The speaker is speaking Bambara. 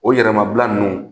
O yɛrɛmabila ninnu